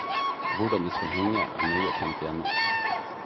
Hvordan de skal henge, er nøye tenkt igjennom.